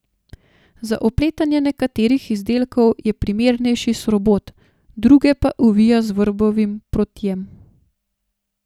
Za opletanje nekaterih izdelkov je primernejši srobot, druge pa ovija z vrbovim protjem.